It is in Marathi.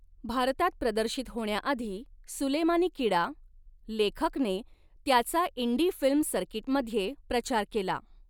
भारतात प्रदर्शित होण्याआधी 'सुलेमानी कीडा' लेखकने त्याचा इंडी फिल्म सर्कीटमध्ये प्रचार केला.